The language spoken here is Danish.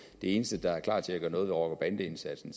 eneste der er klar til at gøre noget ved rocker bande indsatsen